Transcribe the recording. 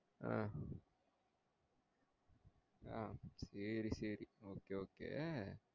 ah ah sorry sorry okay okay